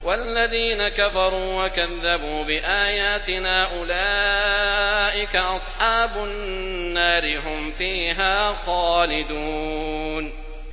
وَالَّذِينَ كَفَرُوا وَكَذَّبُوا بِآيَاتِنَا أُولَٰئِكَ أَصْحَابُ النَّارِ ۖ هُمْ فِيهَا خَالِدُونَ